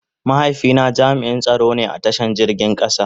Mahaifi na jami'n tsaro ne a ta shan jirgin kasa.